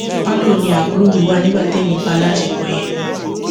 palo ni àbúrò mi wà nígbà témi ń bá a láṣepọ yẹn